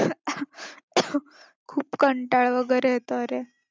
खूप कंटाळा वगैरे येतोय अरे.